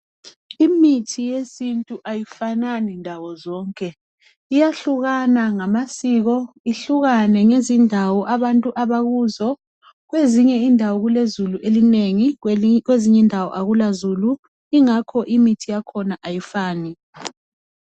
Imithi yesintu ayifanani ndawo zonke iyahlukane ngamasiko ihlukane ngezindawo abantu abakuzo kwezinye indawo kulezulu elinengi kwezinye indawo akulazulu ingakho imithi yakhona ayifani